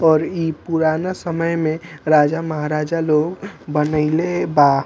और इ पुराना समय में राजा महाराजा लोग बनइले बा।